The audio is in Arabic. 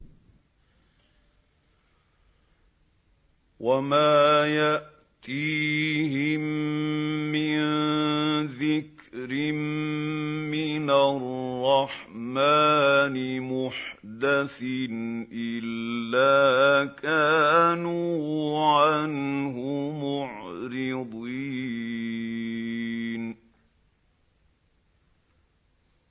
وَمَا يَأْتِيهِم مِّن ذِكْرٍ مِّنَ الرَّحْمَٰنِ مُحْدَثٍ إِلَّا كَانُوا عَنْهُ مُعْرِضِينَ